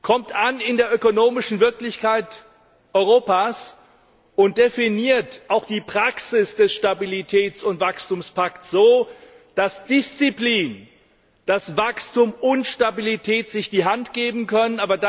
Kommt an in der ökonomischen Wirklichkeit Europas, und definiert auch die Praxis des Stabilitäts und Wachstumspakts so, dass Disziplin, Wachstum und Stabilität sich die Hand geben können!